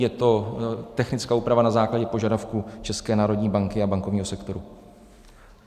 Je to technická úprava na základě požadavků České národní banky a bankovního sektoru.